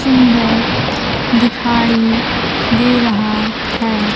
सुंदर दिखाई दे रहा है।